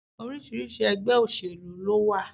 Oríṣiríṣi ẹgbẹ́ òsèlú lówà.